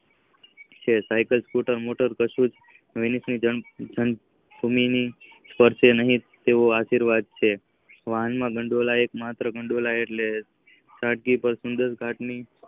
Cycle scooter motor કશુક જ ભૂમિ પાસે નહિ આવે તેવા આશીવાદ છે. વાહન વધોળાય માત્ર ગઠોદાઈ છે.